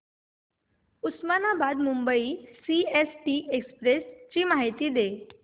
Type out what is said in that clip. Osmanabad Mumbai CST express ची माहिती दे